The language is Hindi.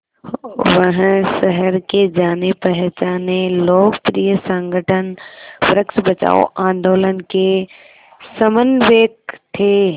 वह शहर के जानेपहचाने लोकप्रिय संगठन वृक्ष बचाओ आंदोलन के समन्वयक थे